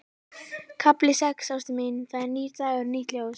KAFLI SEX Ástin mín, það er nýr dagur, nýtt ljós.